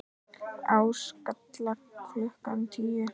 Á Skalla klukkan tíu!